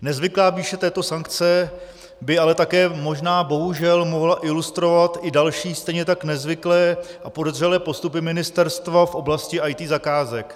Nezvyklá výše této sankce by ale také možná bohužel mohla ilustrovat i další, stejně tak nezvyklé a podezřelé postupy ministerstva v oblasti IT zakázek.